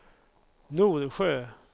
Norsjö